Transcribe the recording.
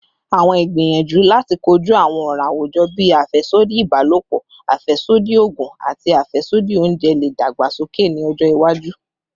Awọn igbiyanju lati koju awọn ọran awujọ bii afẹsodi ibalopọ, afẹsodi oogun, ati afẹsodi ounjẹ le dagbasoke ni ọjọ iwaju